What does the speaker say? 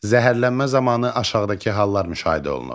Zəhərlənmə zamanı aşağıdakı hallar müşahidə olunur.